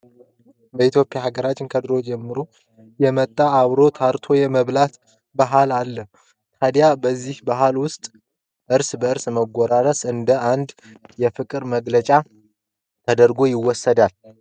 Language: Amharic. በሃገራችን ኢትዮጵያ ከድሮ ጀምሮ የመጣ አብሮ ተአርቶ የመብላት ባህል አለን። ታድያ በዚ ባህል ውስጥ እርስ በእርስ መጎራረስ እንደ አንድ የፍቅር መገለጫ ተደርጎ ይታያል።